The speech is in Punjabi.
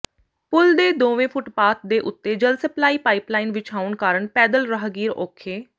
ਪੁੱਲ ਦੇ ਦੋਵੇਂ ਫੁੱਟਪਾਥ ਦੇ ਉੱਤੇ ਜਲ ਸਪਲਾਈ ਪਾਈਪਲਾਈਨ ਵਿਛਾਉਣ ਕਾਰਨ ਪੈਦਲ ਰਾਹਗੀਰ ਔਖੇ